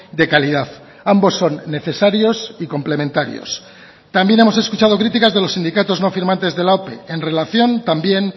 de calidad ambos son necesarios y complementarios también hemos escuchado críticas de los sindicatos no firmantes de la ope en relación también